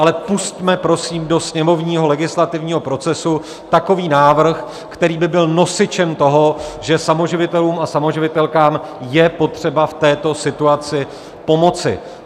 Ale pusťme prosím do sněmovního legislativního procesu takový návrh, který by byl nosičem toho, že samoživitelům a samoživitelkám je potřeba v této situaci pomoci.